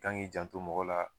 Kan g'i janto mɔgɔ la